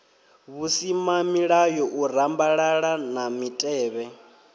vhusimamilayo u rambalala na mitevhe